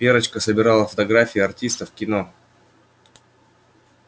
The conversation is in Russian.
верочка собирала фотографии артистов кино